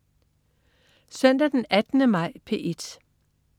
Søndag den 18. maj - P1: